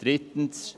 » Absatz 3: